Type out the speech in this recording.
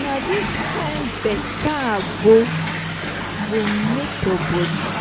na dis kain beta agbo go make your bodi